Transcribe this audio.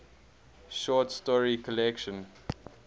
short story collection